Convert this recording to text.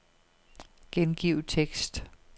Gengiv tekst.